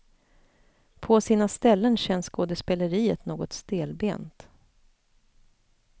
På sina ställen känns skådespeleriet något stelbent.